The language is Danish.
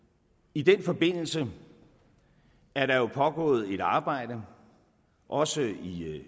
i den forbindelse er der pågået et arbejde også i